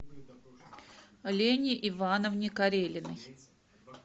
лене ивановне карелиной